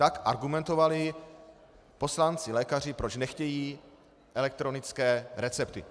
Tak argumentovali poslanci-lékaři, proč nechtějí elektronické recepty.